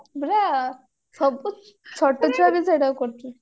ବାସ୍ ସବୁ ଛୋଟ ଛୁଆ ବି ସେଟାକୁ କରୁଥିଲେ